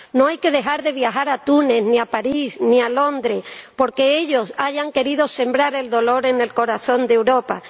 No hay que dejar de viajar a Túnez, ni a París, ni a Londres, porque ellos hayan querido sembrar el dolor en el corazón de Europa.